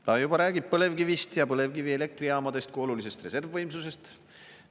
Ta juba räägib põlevkivist ja põlevkivielektrijaamadest kui olulisest reservvõimsusest.